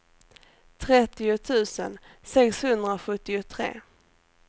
trettio tusen sexhundrasjuttiotre